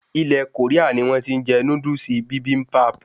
Ilè Koria ni wón ti n je Núdúsì Bibimbap